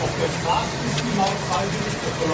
Auf der Straße ist die Maut freiwillig.